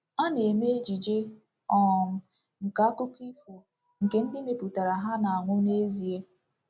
A na-eme ejije um nke akụkọ ifo nke ndị mepụtara ha na-anwụ n’ezie.